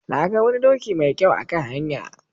Na ga wani doki mai kyau a kan hanya.